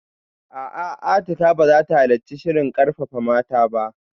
A'a, Atikah ba za ta halarci shirin karfafa mata ba